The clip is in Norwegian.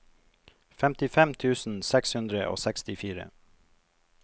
femtifem tusen seks hundre og sekstifire